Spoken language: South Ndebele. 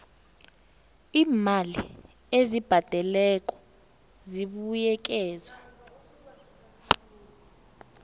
iimali ezibhadelwako zibuyekezwa